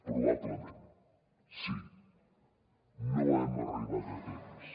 probablement sí no hi hem arribat a temps